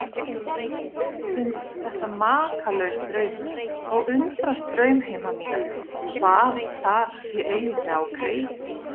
Finnst þetta makalaus draumur og undrast draumheima mína, hvað þar sé eiginlega á kreiki.